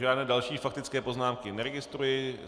Žádné další faktické poznámky neregistruji.